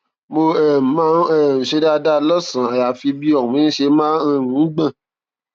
mo um máa um ń ṣe dáadáa lọsànán àyàfi bí ọrùn mi ṣe máa um ń gbọn